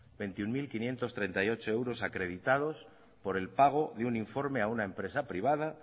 veintiuno mil quinientos treinta y ocho euros acreditados por el pago de un informe a una empresa privada